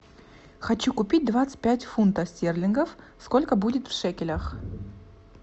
хочу купить двадцать пять фунтов стерлингов сколько будет в шекелях